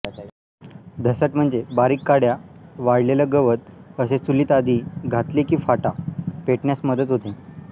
धसट म्हणजे बारीक काड्या वाळलेलं गवत असे चुलीत आधी घातले कि फाटा पेटण्यास मदत होते